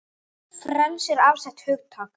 Frelsi er afstætt hugtak